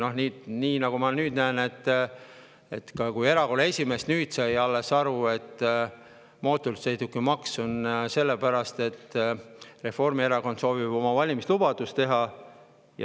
Noh, nagu ma nüüd näen, erakonna esimees sai alles nüüd aru, et mootorsõidukimaks on sellepärast, et Reformierakond soovib oma valimislubadust.